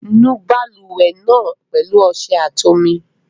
Nu balùwẹ̀ náà pẹ̀lú ọṣẹ àti omi.